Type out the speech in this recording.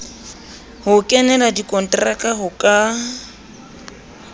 ho kenela dikonteraka ho ka